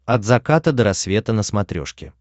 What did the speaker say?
от заката до рассвета на смотрешке